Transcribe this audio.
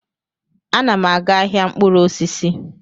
Ana m aga ahịa mkpụrụ osisi